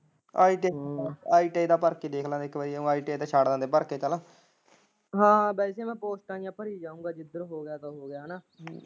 ITIITI ਦੀ ਭਰਤੀ ਦੇਖਲਾਗੇ ਇੱਕ ਵਾਰੀ ITI ਦੇ ਫਾਰਮ ਭਰ ਕੇ ਫਾਰਮ ਹੈਨਾ ਵੈਸੇ ਮੈਂ ਪੋਸਟਾਂ ਜਿਹੀਆ ਭਰੀ ਜਾਉਗਾ, ਜਿੱਧਰ ਹੋਗਿਆ ਸੋ ਹੋਗਿਆ ਹੈਨਾਂ।